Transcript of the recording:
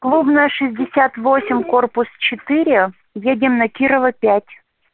клубная шестьдесят восемь корпус четыре едим на кирова пять